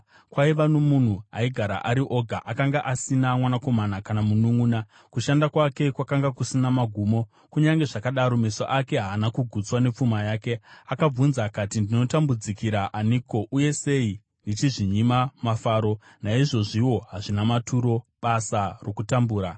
Kwaiva nomunhu aigara ari oga; akanga asina mwanakomana, kana mununʼuna. Kushanda kwake kwakanga kusina magumo, kunyange zvakadaro meso ake haana kugutswa nepfuma yake. Akabvunza akati, “Ndinotambudzikira aniko, uye sei ndichizvinyima mafaro?” Naizvozviwo hazvina maturo, basa rokutambura!